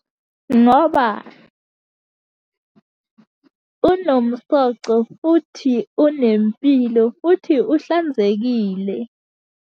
Ngoba unomsoco, futhi unempilo futhi uhlanzekile.